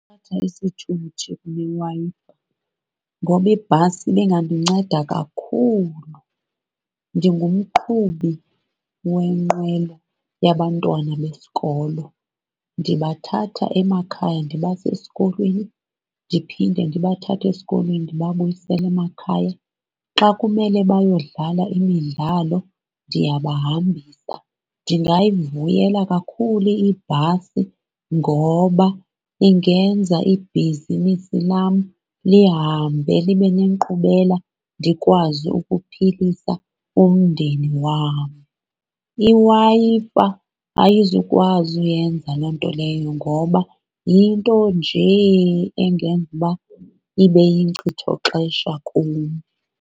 Ngoba ibhasi ibingandinceda kakhulu. Ndingumqhubi wenqwelo yabantwana besikolo, ndibathatha emakhaya ndibase esikolweni ndiphinde ndibathathe esikolweni ndibabuyisele emakhaya. Xa kumele bayodlala imidlalo ndiyabahambisa. Ndingayivuyela kakhulu ibhasi ngoba ingenza ibhizinisi lam lihambe libe nenkqubela ndikwazi ukuphilisa umndeni wam. IWi-Fi ayizukwazi uyenza loo nto leyo ngoba yinto njee engenza uba ibe yinkcithoxesha kum.